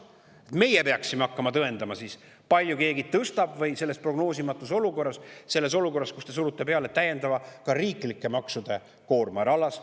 meie peaksime hakkama siis tõendama, kui palju keegi tõstab selles prognoosimatus olukorras, selles olukorras, kus te surute peale ka täiendava riiklike maksude koorma?